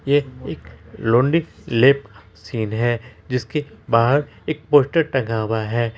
ये एक laundry lab scene है जिसके बाहर एक पोस्टर टंगा हुआ है।